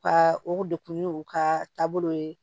Ka o degun n'u ka taabolow ye